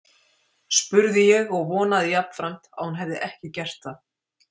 spurði ég og vonaði jafnframt að hún hefði ekki gert það.